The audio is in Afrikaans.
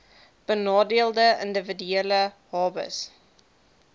benadeelde individue hbis